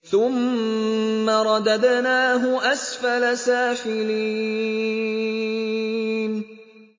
ثُمَّ رَدَدْنَاهُ أَسْفَلَ سَافِلِينَ